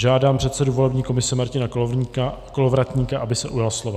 Žádám předsedu volební komise Martina Kolovratníka, aby se ujal slova.